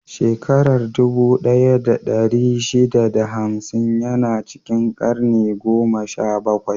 Shakarar dubu ɗaya da ɗari shida da hamsin ya na cikin karni goma sha bakwai.